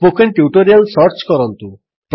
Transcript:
spoken tutorial search କରନ୍ତୁ